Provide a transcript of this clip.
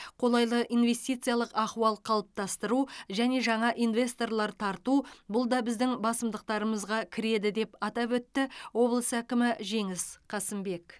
қолайлы инвестициялық ахуал қалыптастыру және жаңа инвесторлар тарту бұл да біздің басымдықтарымызға кіреді деп атап өтті облыс әкімі жеңіс қасымбек